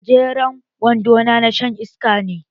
Gajeren wando na shan iska ne.